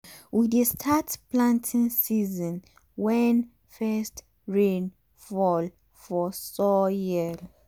we dey start planting season wen first rain fall for soil